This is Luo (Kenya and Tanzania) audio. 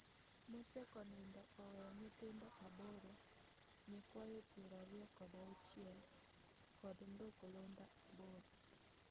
Mosekonindo oweyo nyithindo aboro, nyikwayo piero ariyo kod auchiel kod nduklunda aboro